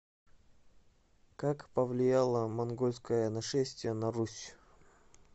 как повлияло монгольское нашествие на русь